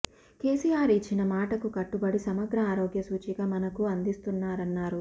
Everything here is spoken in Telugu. కెసిఆర్ ఇచ్చిన మాటకు కట్టుబడి సమగ్ర ఆరోగ్య సూచిక మనకు అందిస్తున్నారన్నారు